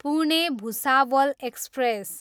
Pune, Bhusawal express